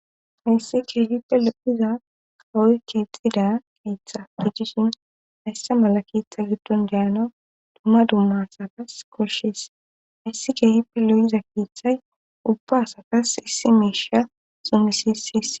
Haysse keehippe lopphiza kawoy keexida qeetha de jishin hayssa mala keeththa giddon deyana dumma dummasatas koshees hayssi geehippe loyiza keeththay ubba asatas issi miisha xumisisis.